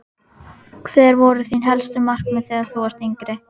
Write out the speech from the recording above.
Hver voru þín helstu markmið þegar þú varst yngri?